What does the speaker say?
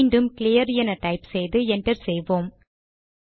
மீண்டும் கிளியர் என டைப் செய்து என்டர் செய்வோம்